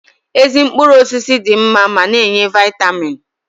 Ezi mkpụrụ osisi dị mma ma na-enye Vaịtamiin